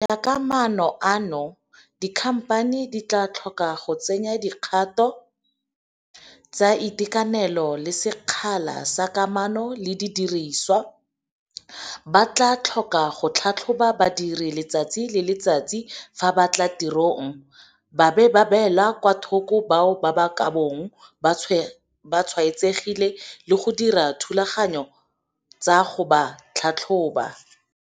Go ya ka maano ano, dikhamphani di tla tlhoka go tsenya dikgato tsa itekanelo le sekgala sa kamano le didiriswa, ba tla tlhoka go tlhatlhoba badiri letsatsi le letsatsi fa ba tla tirong, ba beele kwa thoko bao ba ka bong ba tshwaetsegile le go dira dithulaganyo tsa go ba tlhatlhoba.